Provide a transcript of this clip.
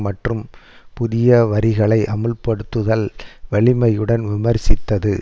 மற்றும் புதிய வரிகளை அமுல்படுத்துதல் வலிமையுடன் விமர்சித்தது